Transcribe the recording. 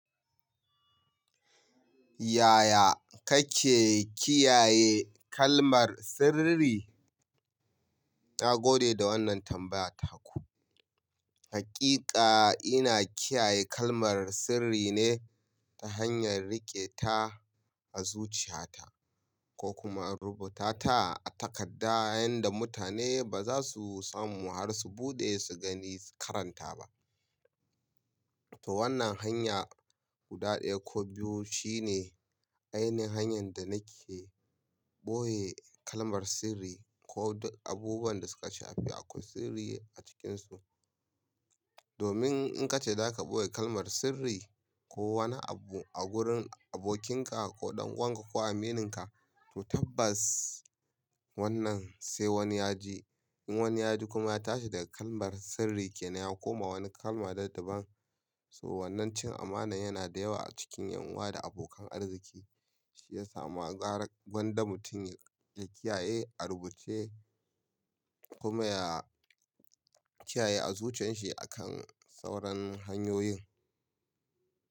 Yaya kake kiyaye kalmar sirri? Na gode da wannan tambayar ta ku. Hakika ina kiyaye kalmar sirri ne ta hanyar riƙe ta a zuciyata ko kuma rubuta ta a takarda yanda mutane ba za su samu har su buɗe su gani karanta ba. To wannan hanya guda ɗaya ko biyu shine ainihin hanyar da nake ɓoye kalmar sirri ko abubuwan da suka shafi akwai sirri a cikinsu. Domin in kace za ka ɓoye kalmar sirri ko wani abu a gurin abokinka ko ɗan uwanka ko amininka, to tabbas wannan sai wani ya ji. In wani ya ji kuma ya tashi daga kalmar sirri kenan ya koma wani kalma daban-daban. To wannan cin amana yana da yawa a cikin ’yan uwa da abokan arziki. Shi ya samu gagar gwandar mutum ya kiyaye, a rubuce kuma ya kiyaye a zuciyanshi akan sauran hanyoyin.